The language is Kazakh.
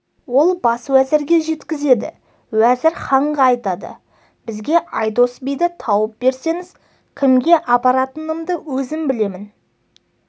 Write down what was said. ол бас уәзірге жеткізеді уәзір ханға айтады бізге айдос биді тауып берсеңіз кімге апаратынымды өзім білемін